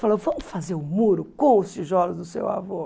Falou, vamos fazer o muro com os tijolos do seu avô.